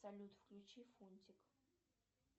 салют включи фунтик